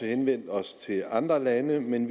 henvendt os til andre lande men